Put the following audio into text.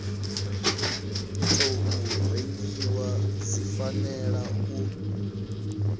tou rengiwa dzi fanela u